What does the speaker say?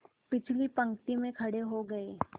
पिछली पंक्ति में खड़े हो गए